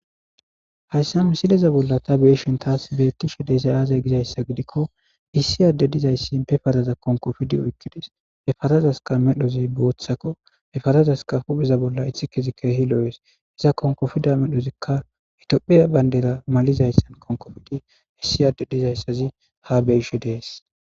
Hayssa misileza bolla ta beeshen taas beettishe deesa aazey gizayssa gidikko issi adde dizayssi pefazaza konkofidi oykkides efazazaska medhozi booththakko efarazaska hupheza bolla ithi kezi kehi loo'es iza konkofida medhozikka itoophiya bayndera malizayssan konkofidi issi adde dizayssazi ha beishe dees.